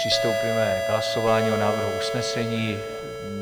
Přistoupíme k hlasování o návrhu usnesení.